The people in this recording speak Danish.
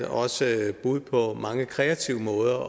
også er bud på mange kreative måder